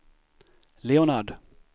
Leonard